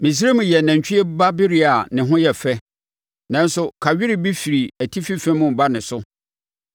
“Misraim yɛ nantwie ba bereɛ a ne ho yɛ fɛ, nanso kawere bi firi atifi fam reba ne so.